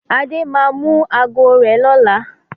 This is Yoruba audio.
Adé máa mú ago rẹ̀ lọlé.